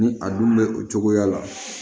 Ni a dun bɛ o cogoya la